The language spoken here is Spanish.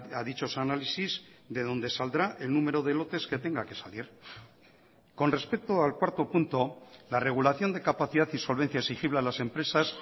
a dichos análisis de donde saldrá el número de lotes que tenga que salir con respecto al cuarto punto la regulación de capacidad y solvencia exigible a las empresas